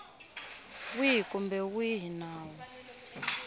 wihi kumbe wihi wa nawu